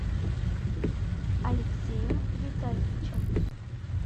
алексеем витальевичем